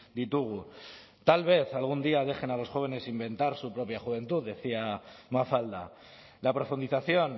ditugu tal vez algún día dejen a los jóvenes inventar su propia juventud decía mafalda la profundización